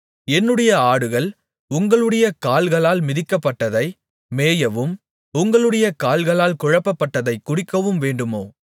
என்னுடைய ஆடுகள் உங்களுடைய கால்களால் மிதிக்கப்பட்டதை மேயவும் உங்களுடைய கால்களால் குழப்பப்பட்டதைக் குடிக்கவும் வேண்டுமோ